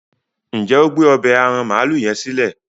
njé o gbé ọbẹ́ aràn maalu yen silẹ?